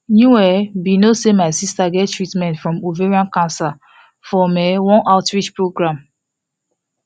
you um be no say my sister get treatment from ovarian cancer from um one outreach program